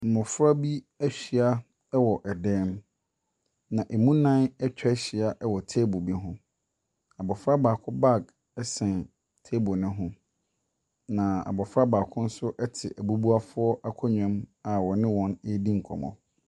Mnɔfra bi ahyia wɔ dan mu. Na ɛmu nnan atwa ahyia wɔ table bi ho. Abɔfra baako baage ɛsɛn table ne ho. Na abɔfra baako nso te abubuafo akonnwa mu a ɔne wɔn redi nkɔmmɔ.